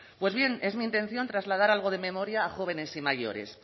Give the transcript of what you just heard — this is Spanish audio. pues bien es mi intención trasladar algo de memoria a jóvenes y mayores